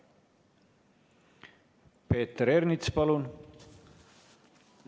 Peeter Ernits, palun!